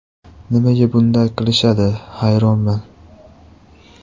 Nimaga bunday qilishadi, hayronman.